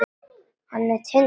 Hann er Tindur.